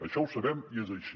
això ho sabem i és així